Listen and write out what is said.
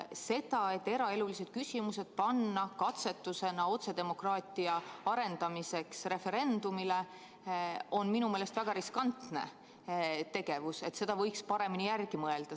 See, et eraelulised küsimused panna katsetusena otsedemokraatia arendamiseks referendumile, on minu meelest väga riskantne tegevus, selle üle võiks paremini järele mõelda.